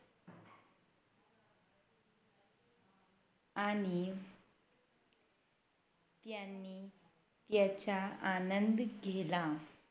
आणि यांनी याच्या आनंद घेला